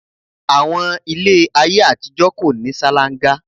Àwọn ilé ayé àtijọ́ kò ní salanga